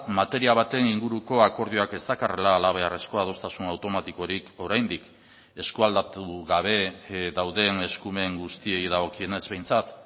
materia baten inguruko akordioak ez dakarrela halabeharrezko adostasun automatikorik oraindik eskualdatu gabe dauden eskumen guztiei dagokionez behintzat